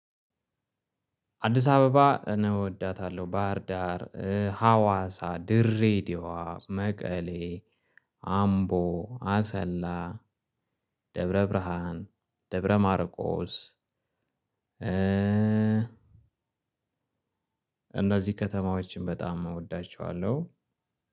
አዲስ አበባ እኔ እወዳታለሁ። ባህርዳር፣ ሀዋሳ፣ ድሬዲዮዋ፣ መቀሌ፣ አምቦ፣ አሰላ፣ ደብረ ብርሃን፣ ደብረ ማርቆስ እነዚህ ከተማዎችን በጣም እወዳቸዋለሁ።